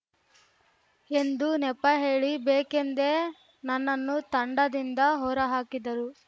ಎಂದು ನೆಪ ಹೇಳಿ ಬೇಕೆಂದೇ ನನ್ನನ್ನು ತಂಡದಿಂದ ಹೊರಹಾಕಿದರು